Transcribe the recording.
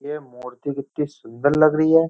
ये मूर्ति कितनी सुंदर लग रही है।